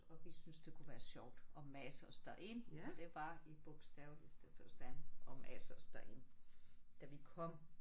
Og vi syntes det kunne være sjovt at mase os derind det var i bogstaveligste forstand at mase os derind. Da vi kom